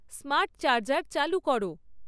smart charger চালু কর